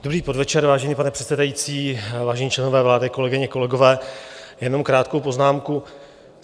Dobrý podvečer, vážený pane předsedající, vážení členové vlády, kolegyně, kolegové, jenom krátkou poznámku.